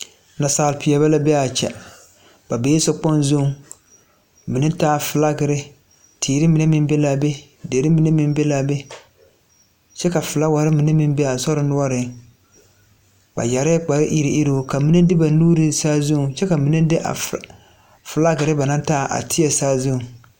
Naasaal peɛɛli la be aa kyɛ ba bee sokpoŋ zuŋ mine taa flakerre teere mine meŋ be laa be derre mine meŋ be laa be kyɛ ka flaawarre mine meŋ be aa sore noɔreŋ ba yɛrɛɛ kpare iruŋiruŋ ba mine de ba nuure saazuŋ kyɛ ka mine de a flakerre ba naŋ taa a tēɛ saazuŋ.